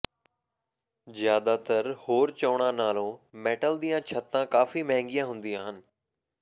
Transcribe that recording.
ਜ਼ਿਆਦਾਤਰ ਹੋਰ ਚੋਣਾਂ ਨਾਲੋਂ ਮੈਟਲ ਦੀਆਂ ਛੱਤਾਂ ਕਾਫ਼ੀ ਮਹਿੰਗੀਆਂ ਹੁੰਦੀਆਂ ਹਨ